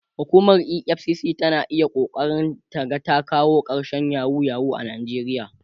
hukumar EFCC tana iya ƙoƙarin ta ta ga ta kawo karshen yahoo yahoo a nijeriya